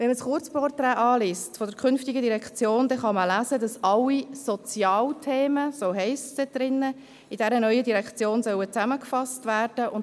Wenn man das Kurzporträt der künftigen Direktion anschaut, kann man lesen, dass alle «Sozialthemen» – so steht es dort – in dieser neuen Direktion zusammengefasst werden sollen.